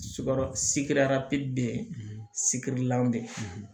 bɛ yen sikirilan bɛ yen